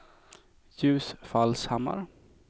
Ljusfallshammar